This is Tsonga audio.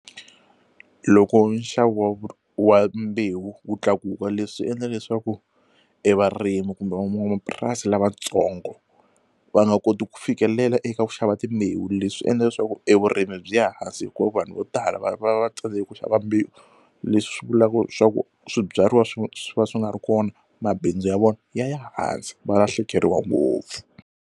Loko nxavo wa mbewu wu tlakuka leswi endla leswaku e varimi kumbe van'wamapurasi lavatsongo va nga koti ku fikelela eka ku xava timbewu leswi swi endla leswaku e vurimi byi ya hansi hikuva vanhu vo tala va va va tsandzeka ku xava mbewu leswi swi vulaka swa ku swibyariwa swi swi va swi nga ri kona mabindzu ya vona ya ya hansi va lahlekeriwa ngopfu.